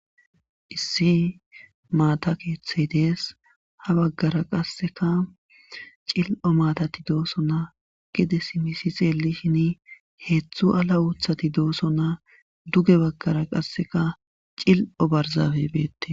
Issi maata keeththay dees ha baggara qasseka cil7o maatati dooso naa gide simisi xeelishin heeththu ala uuthati dooso naa duge baggara qasseka cil7o barzabebette.